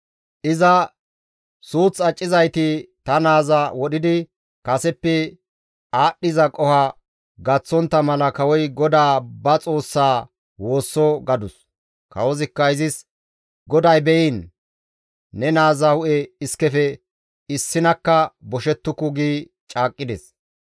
Iza, «Suuth accizayti ta naaza wodhidi kaseppe aadhdhiza qoho gaththontta mala kawoy GODAA ba Xoossaa woosso» gadus. Kawozikka izis, «GODAY be7iin, ne naaza hu7e iskefe issinakka boshettuku» gi caaqqides.